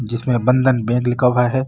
जिसमे बंधन बैंक लिखा हुआ है।